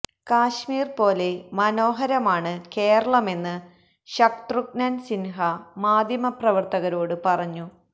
കാശ്മീര് പോലെ മനോഹരമാണ് കേരളമെന്ന് ശത്രുഘ്നന് സിന്ഹ മാധ്യമ പ്രവര്ത്തകരോട് പറഞ്ഞു